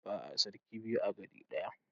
Ba'a sarki biyu a gari ɗaya.